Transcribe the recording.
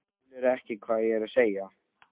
Skilurðu ekki hvað ég er að segja?